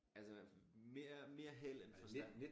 Altså mere mere held end forstand